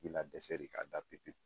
I na dɛsɛ de ka da pepewu.